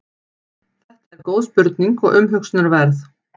þetta er góð spurning og umhugsunarverð